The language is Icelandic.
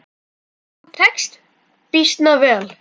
Og tekst býsna vel.